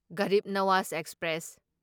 Garib Nawaz express